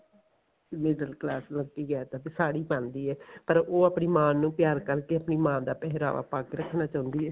middle class ਲੜਕੀ ਕਹਿ ਸਕਦੇ ਆ ਸਾੜੀ ਪਾਂਦੀ ਏ ਪਰ ਉਹ ਆਪਣੀ ਮਾਂ ਨੂੰ ਪਿਆਰ ਕਰਕੇ ਕੇ ਆਪਣੀ ਮਾਂ ਦਾ ਪਿਹਰਾਵਾ ਪਾ ਕੇ ਰੱਖਣਾ ਚਾਉਂਦੀ ਏ